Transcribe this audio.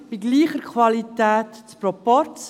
Bei gleicher Qualität Proporz.